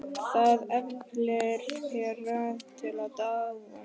Það efli þær til dáða.